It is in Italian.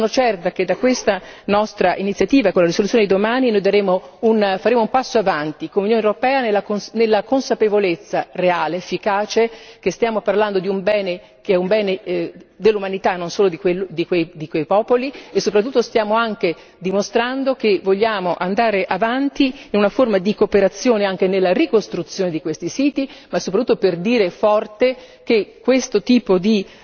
Sono certa che da questa nostra iniziativa e con la risoluzione di domani faremo un passo in avanti con l'Unione europea nella consapevolezza reale, efficace che stiamo parlando di un bene che è un bene dell'umanità non solo di quei popoli e soprattutto stiamo anche dimostrando che vogliamo andare avanti in una forma di cooperazione anche nella ricostruzione di questi siti, ma soprattutto per dire forte che questo tipo di